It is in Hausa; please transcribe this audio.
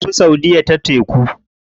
Sun tafi saudiya ta teku.